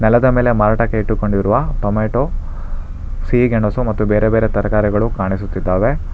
ನೆಲದ ಮೇಲೆ ಮಾರಾಟಕ್ಕೆ ಇಟ್ಟುಕೊಂಡಿರುವ ಟೊಮೆಟೊ ಸಿಹಿ ಗೆಣಸು ಮತ್ತು ಬೇರೆ ಬೇರೆ ತರಕಾರಿಗಳು ಕಾಣಿಸುತ್ತಿದ್ದಾವೆ.